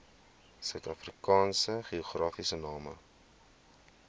suidafrikaanse geografiese name